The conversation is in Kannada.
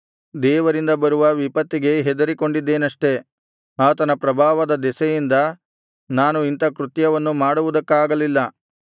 ದೇವರಿಂದ ಬರುವ ವಿಪತ್ತಿಗೆ ಹೆದರಿಕೊಂಡಿದ್ದೆನಷ್ಟೆ ಆತನ ಪ್ರಭಾವದ ದೆಸೆಯಿಂದ ನಾನು ಇಂಥ ಕೃತ್ಯವನ್ನು ಮಾಡುವುದಕ್ಕಾಗಲಿಲ್ಲ